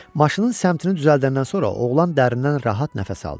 Maşının səmtini düzəldəndən sonra oğlan dərindən rahat nəfəs aldı.